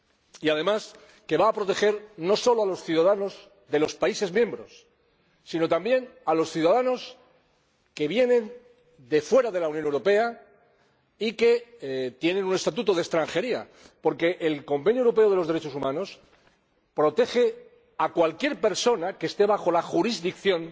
Y además, nos parece que va a proteger no solo a los ciudadanos de los países miembros, sino también a los ciudadanos que vienen de fuera de la Unión Europea y que tienen un estatuto de extranjería, porque el Convenio Europeo para la Protección de los Derechos Humanos protege a cualquier persona que esté bajo la jurisdicción